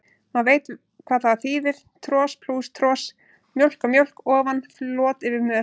Maður veit hvað það þýðir, tros plús tros, mjólk á mjólk ofan, flot yfir mör.